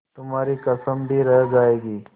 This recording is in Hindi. तुम्हारी कसम भी रह जाएगी